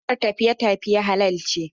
Hukumar tafiye tafiye halal ce.